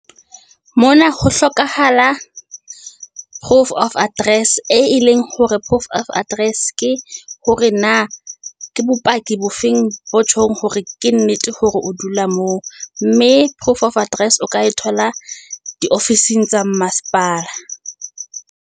Mona ho hlokahala proof of address, e leng hore proof of address ke hore na ke bopaki bo feng bo tjhong hore ke nnete hore o dula moo. Mme proof of address, o ka e thola di ofising tsa mmasepala.